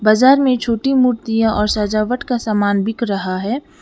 बाजार में छोटी मूर्तियां और सजावट का सामान बिक रहा है।